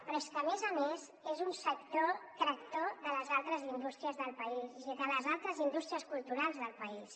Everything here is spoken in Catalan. però és que a més a més és un sector tractor de les altres indús·tries del país és a dir de les altres indústries culturals del país